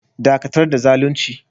Dakatar da zalunci!